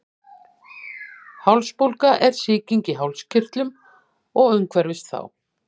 Hálsbólga er sýking í hálskirtlum og umhverfis þá.